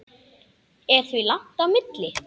Er því langt á milli.